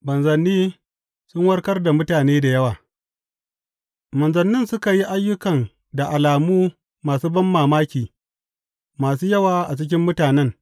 Manzanni sun warkar da mutane da yawa Manzannin suka yi ayyukan da alamu masu banmamaki masu yawa a cikin mutanen.